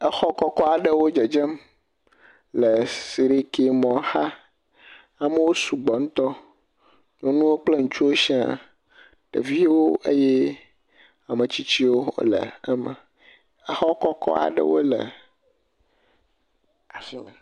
Exɔ kɔkɔ aɖewo dzedzem le siɖiki mɔ xa. Amewo sugbɔ ŋutɔ. Nyɔnuwo kple ŋutsuwo sia. Ɖeviwo eye ame tsitsiwo le eme. Exɔ kɔkɔk aɖewo le afi ma.